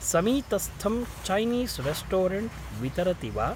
समीतस्थं Chinese restaurant वितरति वा?